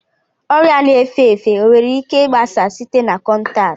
Ọrịa na-efe efe o nwere ike gbasaa site na kọntaktị?